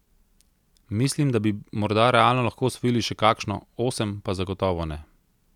Mislim, da bi morda realno lahko osvojili še kakšno, osem pa zagotovo ne.